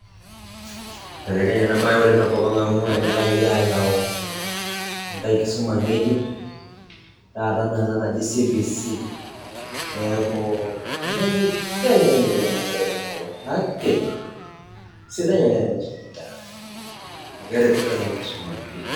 ibelekenye ena bae oleng tenkop ang oleng amu enyakaki ayau enkae kisuma ngejuk tata ena ena najii cbc niaku ole ibelekenya ena siai pii tenkop ang kake kisidai oleng tenisumi inkera amu ,keretisho enkisuma oleng.